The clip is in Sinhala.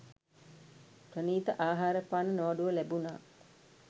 ප්‍රණීත ආහාරපාන නොඅඩුව ලැබුණා.